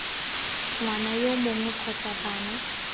ngwana yo mongwe kgotsa bana